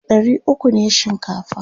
ɗari ukwu ne shinkafa